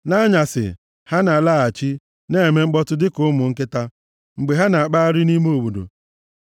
Nʼanyasị, ha na-alaghachi, na-eme mkpọtụ dịka ụmụ nkịta mgbe ha na-akpagharị nʼime obodo.